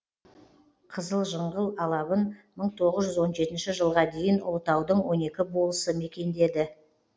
қызылжыңғыл алабын мың тоғыз жүз он жетінші жылға дейін ұлытаудың он екі болысы мекендеді